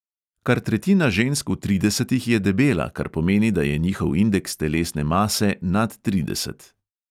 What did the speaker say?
Kar tretjina žensk v tridesetih je debela, kar pomeni, da je njihov indeks telesne mase nad trideset.